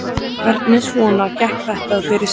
Hvernig svona gekk þetta fyrir sig?